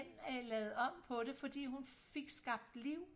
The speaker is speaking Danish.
lavet om på det frodi hun fik skabt liv